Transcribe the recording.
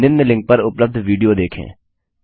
निम्न लिंक पर उपलब्ध विडियो देखें